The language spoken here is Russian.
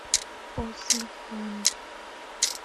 после фанты